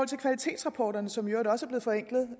til kvalitetsrapporterne som i øvrigt også